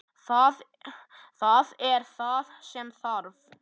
Það er það sem þarf.